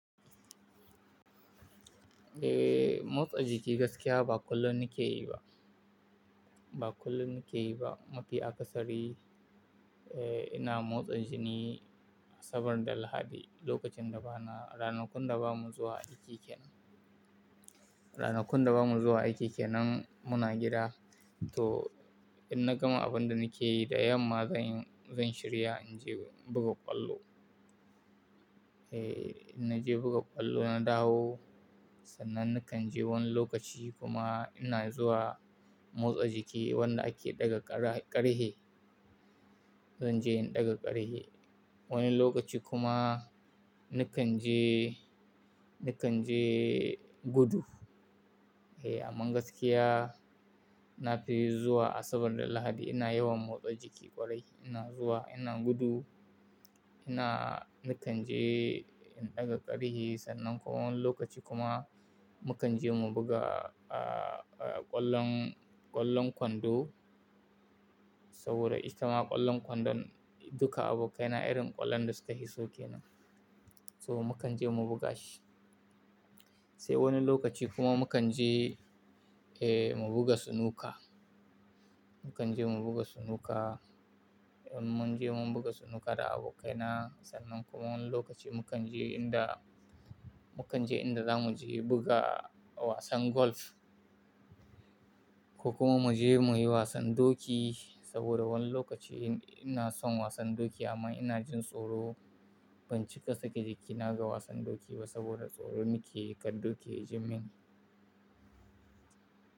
Eh, motsa jiki gaskiya ba kullum nike yi ba. Ba kullum na keyi ba. Mafi akasari, eh, ina motsa jini asabar da Lahadi lokacin da ba na ranakun da ba mu zuwa aiki kenan, Ranakun da ba mu zuwa aiki kenan muna gida. Toh, inna gama abunda na ke yi da yamma, zan yi, zan shirya in je buga kwallo. Eh, inna je buga kwallo na dawo, sannan nakan je wani lokaci kuma ina zuwa motsa jiki wanda ake ɗaga ƙara ƙarfe. Zan je in ɗaga ƙarihe. Wani lokaci kuma nakan je, nakan je gudu. Eh, amma gaskiya na fi zuwa Asabar da Lahadi ina yawan motsa jiki ƙwarai. Ina zuwa, ina gudu, ina nakan je in ɗaga ƙarfe sannan kuma wani lokaci kuma mu kan je mu buga, ƙwallon, ƙwallon kwando saboda itama ƙwallon kwandon duka abokaina irin ƙwallon da su ka fiso ke nan. So mu kan je mu buga shi. Sai wani lokaci kuma mu kan je, eh, mu buga snuka. Mu kan je mu buga sunuka. Mun je mun buga sunuka da abokaina, sannan kuma wani lokaci mu kan je in da, mu kan je in da za mu je buga wasan golf koh kuma mu je mu yi wasan doki saboda wani lokaci ina son wasan doki amma ina jin tsoro. Ban cika sake jiki na ga wasan doki ba saboda tsoro na ke yi ƙar doki ji min.